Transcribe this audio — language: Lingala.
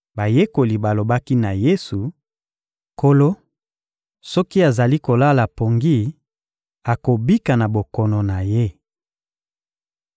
Bayekoli balobaki na Yesu: — Nkolo, soki azali kolala pongi, akobika na bokono na ye!